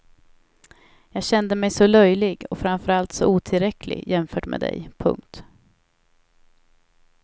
Jag kände mig så löjlig och framför allt så otillräcklig jämfört med dig. punkt